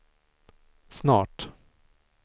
snart